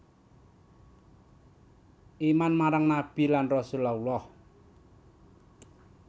Iman marang nabi lan rasul Allah